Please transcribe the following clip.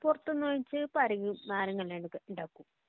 പുറത്തുന്നു വാങ്ങിച്ചെ ഇപ്പോ ആരെങ്കിലും നാരങ്ങ അല്ലാണ്ട് ഇണ്ടാക്കോ